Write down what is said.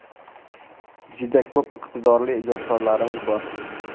Juda ko‘p iqtidorli ijodkorlarimiz bor.